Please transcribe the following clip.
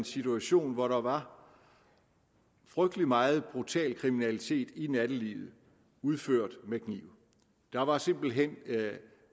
situation hvor der var frygtelig meget brutal kriminalitet i nattelivet udført med kniv der var simpelt hen